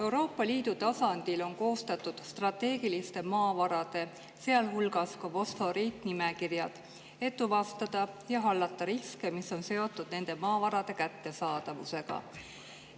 Euroopa Liidu tasandil on koostatud strateegiliste maavarade, sealhulgas fosforiidi, nimekirjad, et tuvastada ja hallata riske, mis on seotud nende maavarade kättesaadavusega.